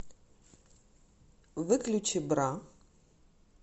выключи бра